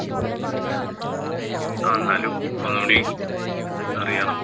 ആഹ് എന്നാലും ഒന്നുകൂടി അറിയണം.